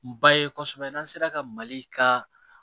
Ba ye kosɛbɛ n'an sera ka mali ka